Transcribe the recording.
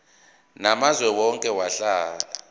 namazwe owake wahlala